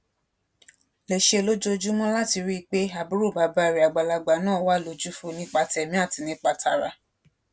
lè ṣe lójoojúmó láti rí i pé àbúrò bàbá rè àgbàlagbà náà wà lójúfò nípa tèmí àti nípa tara